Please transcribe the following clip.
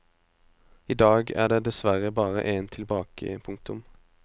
I dag er det dessverre bare en tilbake. punktum